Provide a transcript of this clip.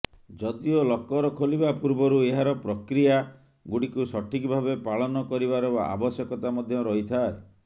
ଯଦିଓ ଲକର ଖୋଲିବା ପୂର୍ବରୁ ଏହାର ପ୍ରକ୍ରିୟା ଗୁଡିକୁ ସଠିକ ଭାବେ ପାଳନ କରିବାର ଆବଶ୍ୟକତା ମଧ୍ୟ ରହିଥାଏ